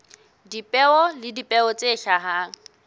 dipeo le dipeo tse hlahang